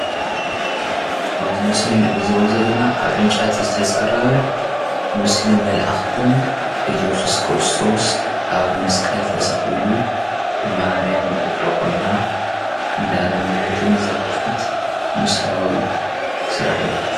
ኣብዚ ምስሊ ንዕዘቦ ዘለና ኣብ ዕንጨቲ ዝተፀረበ ምስሊ መላኣክቲን እየሱስ ክርስቶስ ኣብ መስቀል ተሰቂሉ ማርያም ኣብ እግሩ ኮይና እንዳለመነትን ዘመልክት ምስላዊ ስራሕ እዩ::